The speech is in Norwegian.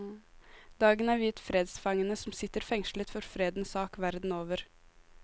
Dagen er viet fredsfangene som sitter fengslet for fredens sak verden over.